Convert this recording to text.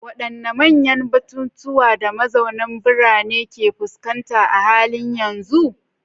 Wadanne manyan batutuwan da mazauna birane ke fuskanta a halin yanzu?